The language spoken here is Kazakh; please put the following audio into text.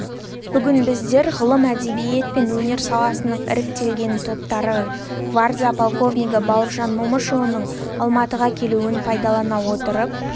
бүгін біздер ғылым әдебиет пен өнер саласының іріктелінген топтары гвардия полковнигі бауыржан момышұлының алматыға келуін пайдалана отырып